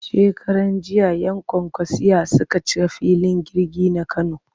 Shekaranjiya 'yan kwankwasiyya suka cika filin jirgin na Kano